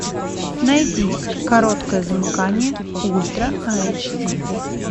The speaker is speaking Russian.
найди короткое замыкание ультра айч ди